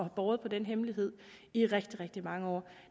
og har båret på den hemmelighed i rigtig rigtig mange år